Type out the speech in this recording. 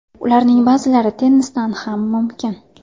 Ularning ba’zilari tennisdan ham mumkin”.